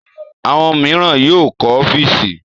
Àwọn mìíràn yóò kọ́ ọ́fíísì.